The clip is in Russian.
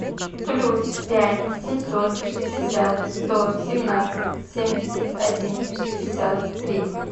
плюс пять семьсот шестьдесят сто семнадцать семьдесят один шестьдесят три